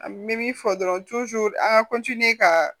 An bɛ min fɔ dɔrɔn an ka ka